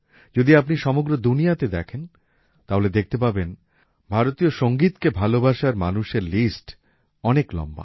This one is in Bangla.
যদি আপনি সমগ্র দুনিয়াতে দেখেন তাহলে দেখতে পাবেন ভারতীয় সংগীতকে ভালোবাসার মানুষের লিস্ট অনেক লম্বা